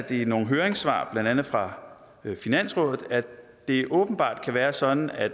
i nogle høringssvar blandt andet fra finansrådet at det åbenbart kan være sådan at